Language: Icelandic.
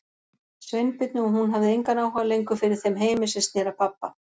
Sveinbirni og hún hafði engan áhuga lengur fyrir þeim heimi sem sneri að pabba.